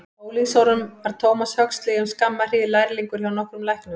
Á unglingsárum var Thomas Huxley um skamma hríð lærlingur hjá nokkrum læknum.